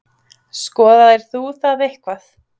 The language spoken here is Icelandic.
Skoðaðir þú það eitthvað?